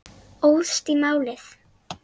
Óðst í málið.